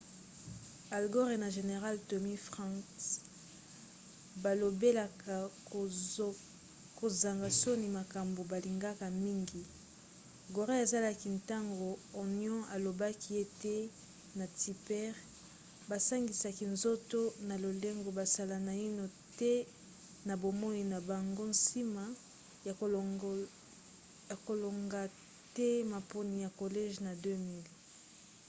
al gore na général tommy franks balobelaka kozanga soni makambo balingaka mingi gore azalaki ntango onion alobaki ete ye na tipper basangisaki nzoto na lolenge basala naino te na bomoi na bango nsima ya kolonga te maponi ya collège na 2000